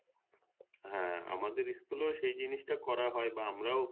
হ্যাঁ আমাদের school এও সে জিনিস টা করতে হয়